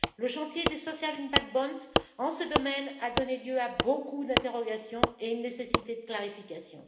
Le chantier des Social Impact Bonds en ce domaine, a donné lieu à beaucoup d'interrogations et à une nécessité de clarification.